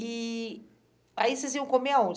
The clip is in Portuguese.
E aí vocês iam comer aonde?